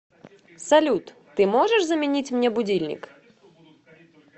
салют ты можешь заменить мне будильник